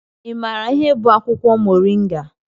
Ị maara ihe bụ akwụkwọ Moringa?